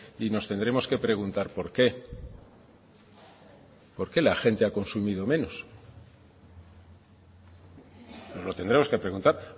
y nos tendremos que preguntar por qué por qué la gente ha consumido menos nos lo tendremos que preguntar